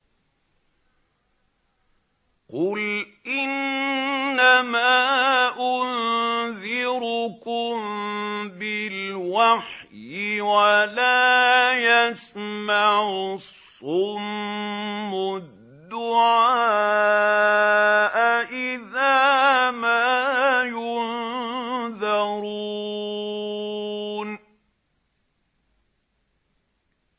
قُلْ إِنَّمَا أُنذِرُكُم بِالْوَحْيِ ۚ وَلَا يَسْمَعُ الصُّمُّ الدُّعَاءَ إِذَا مَا يُنذَرُونَ